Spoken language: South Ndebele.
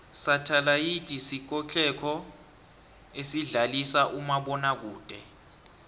sathalayidisikotlelo esidlalisa umabona kude